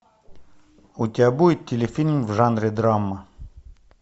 у тебя будет телефильм в жанре драма